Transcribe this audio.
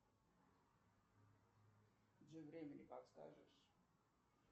джой время не подскажешь